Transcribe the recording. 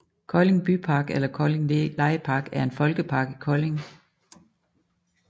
Kolding Bypark eller Kolding legepark er en folkepark i Kolding